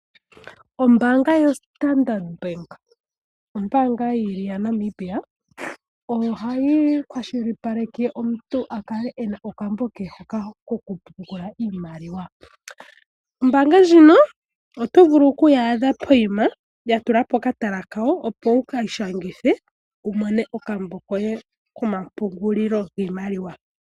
Ombaanga yoStandard Bank ombaanga yi li ya Namibia. Ohayi kwashilipaleke omuntu a kale e na okambo ke kokupungula iimaliwa Ombaanga ndjino oto vulu oku yi adha pokuma ya tula po okatala kayo, opo wu ka ishangithe wu mone okambo koye komapungulilo giimaliwa.